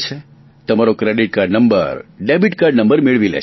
તમારો credit card number debit card number મેળવી લે છે